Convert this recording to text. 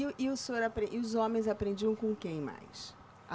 E e o senhor apren, e os homens aprendiam com quem mais? A